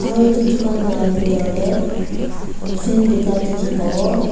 aru edu dukan la bitor tae fan bika dikhi pawo.